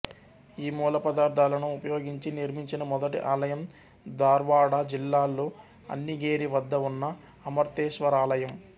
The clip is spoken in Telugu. ఈ మూలపదార్ధాలను ఉపయోగించి నిర్మించిన మొదటి ఆలయం దార్వాడ జిల్లాలో అన్నిగేరి వద్ద ఉన్న అమర్తేశ్వరాలయం